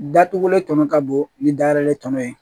Datugulen tɔnɔ ka bon ni da yɛrɛ tɔnɔ ye